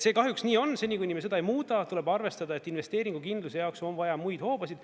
See kahjuks nii on, seni kuni me seda ei muuda, tuleb arvestada, et investeeringukindluse jaoks on vaja muid hoobasid.